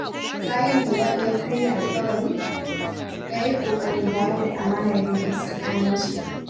Bayan da Ya’u ya karya alƙawari, ya yi ƙoƙarin dawo da amanar da ke tsakaninsu.